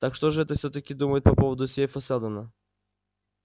так что же это всё-таки думаете по поводу сейфа сэлдона